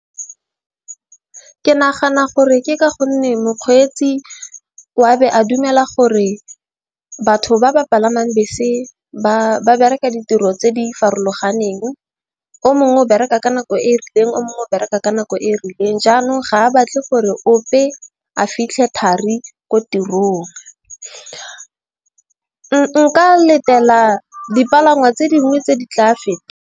Ke nagana gore ke ka gonne mokgweetsi wa be a dumela gore batho ba ba palamang bese ba bereka ditiro tse di farologaneng. O mongwe o bereka ka nako e rileng. O mongwe o bereka ka nako e rileng. Jaanong ga a batle gore ope a fitlhe thari ko tirong. Nka letela dipalangwa tse dingwe tse di tla a feta.